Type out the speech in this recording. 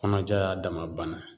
Kɔnɔja y'a dama bana